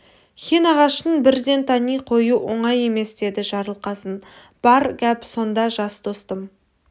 хин ағашын бірден тани қою оңай емес деді жарылқасын бар гәп сонда жас достым